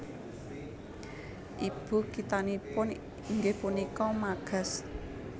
Ibu kithanipun inggih punika Magas